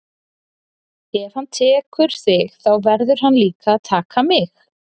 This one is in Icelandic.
Ef hann tekur þig þá verður hann líka að taka mig.